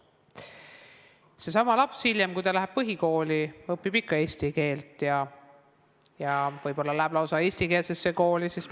Seesama laps, kui ta läheb põhikooli, õpib eesti keelt ja võib-olla läheb lausa eestikeelsesse kooli.